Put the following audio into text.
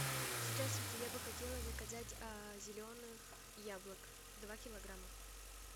здравствуйте я бы хотела заказать зеленых яблок два килограмма